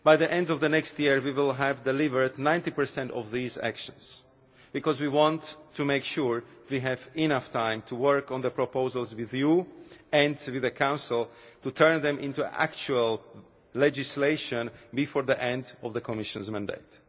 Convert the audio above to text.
By the end of next year we will deliver 90 of these actions because we want to make sure we have enough time to work on the proposals with Parliament and with the Council, to turn them into actual legislation before the end of the Commission's mandate.